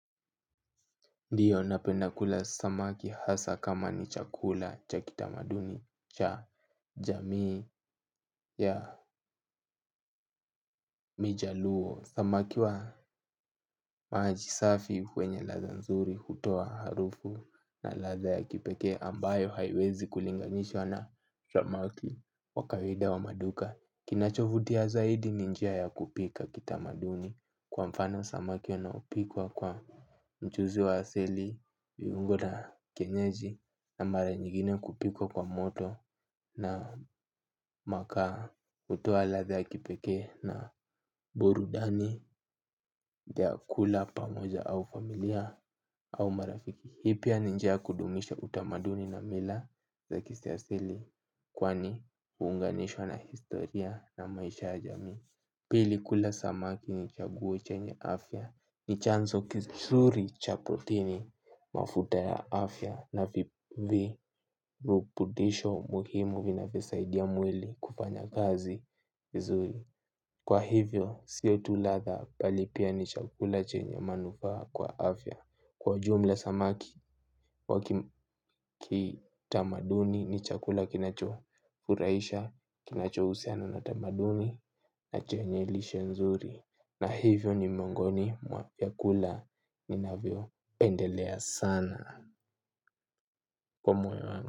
Ndiyo napenda kula samaki hasa kama ni chakula cha kitamaduni cha jamii ya mjaluo. Samaki wa maji safi kwenye ladha nzuri hutoa harufu na ladha ya kipekee ambayo haiwezi kulinganishwa na shopmalki wa kawaida wa maduka. Kinachovutia zaidi ni njia ya kupika kitamaduni kwa mfano samaki unaopikwa kwa mchuzi wa hasili, viungo na kienyeji na mara nyingine kupikwa kwa moto na makaa hutoa ladha ya kipeke na burudani ya kula pamoja au familia au marafiki. Hii pia ni njia ya kudumisha utamaduni na mila za kiasili kwani huunganishwa na historia na maisha ya jamii. Pili kula samaki ni chaguo chenye afya ni chanzo kizuri cha protini mafuta ya afya na virutubisho muhimu vinavyo saidia mwili kufanya kazi vizuri. Kwa hivyo sio tu ladha bali pia ni chakula chenye manufaa kwa afya. Kwa ujumla samaki wakitamaduni nichakula kinacho furahisha, kinacho husiana na tamaduni na chenye lishe nzuri. Na hivyo ni mwongoni mwa vyakula ninavyo pendelea sana. Kwa moyo wangu.